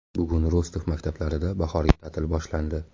Bugun Rostov maktablarida bahorgi ta’til boshlandi.